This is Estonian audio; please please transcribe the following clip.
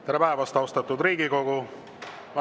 Tere päevast, austatud Riigikogu!